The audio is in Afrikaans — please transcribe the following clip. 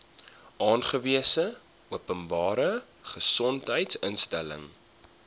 aangewese openbare gesondheidsinstelling